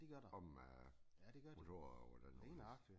Om øh motorer og hvordan og hvorledes